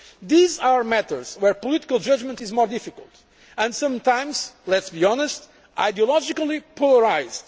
These are matters where political judgment is more difficult, and sometimes let us be honest ideologically polarised.